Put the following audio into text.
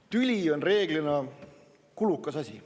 Tüli on reeglina kulukas asi.